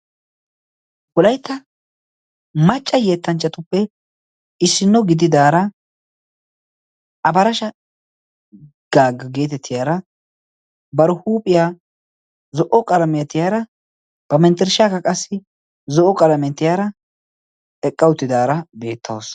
wolaitta macca yeettanchchatuppe issinno gididaara abarasha gaagga geetettiyaara bar huuphiyaa zo77o qalameetiyaara ba manttirshshaaka qassi zo7o qalamentiyaara eqqautidaara beettausu